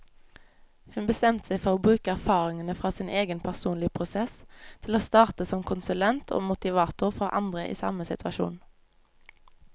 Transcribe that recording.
Hun bestemte seg for å bruke erfaringene fra sin egen personlige prosess til å starte som konsulent og motivator for andre i samme situasjon.